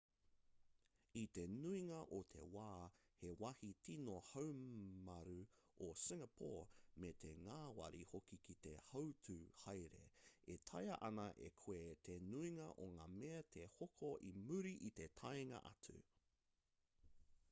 i te nuinga o te wā he wāhi tīno haumrau a singapore me te ngāwari hoki ki te hautū haere e taea ana e koe te nuinga o ngā mea te hoko i muri i te taenga atu